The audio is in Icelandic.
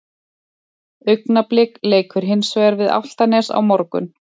Augnablik leikur hins vegar við Álftanes á morgun.